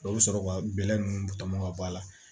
O bɛ sɔrɔ ka bɛlɛ ninnu tɔmɔ ka bɔ a la